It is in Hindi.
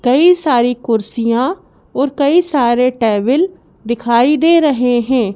कई सारी कुर्सियां और कई सारे टेबिल दिखाई दे रहे हैं।